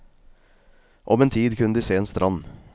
Om en tid kunne de se en strand.